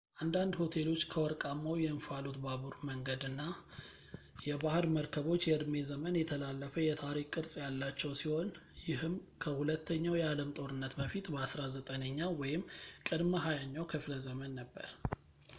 አንዳንድ ሆቴሎች ከወርቃማው የእንፋሎት ባቡር መንገድና የባህር መርከቦች የእድሜ ዘመን የተላለፈ የታሪክ ቅርስ ያላቸው ሲሆን ይህም ከሁለተኛው የአለም ጦርነት በፊት በ19ኛው ወይም ቅድመ 20ኛው ክፍለ ዘመን ነበር